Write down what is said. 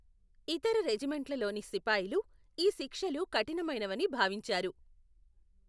ఇతర రెజిమెంట్లలోని సిపాయిలు ఈ శిక్షలు కఠినమైనవని భావించారు.